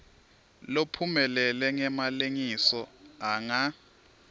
lophumelele ngemalengiso anga